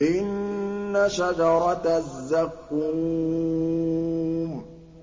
إِنَّ شَجَرَتَ الزَّقُّومِ